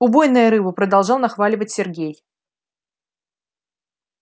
убойная рыба продолжал нахваливать сергей